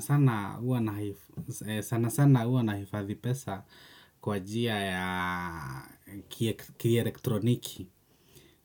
Sana sana huwa nahifadhi pesa kwa njia ya kielektroniki